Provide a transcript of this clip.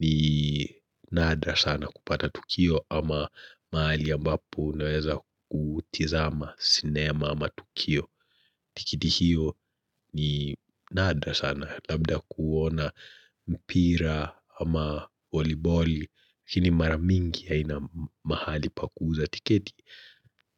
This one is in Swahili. ni nadra sana kupata Tukio ama mahali ambapo naweza kutizama sinema ama Tukio. Tikiti hiyo ni nadra sana labda kuona mpira ama voliboli lakini maramingi ya haina mahali pa kuuza tiketi.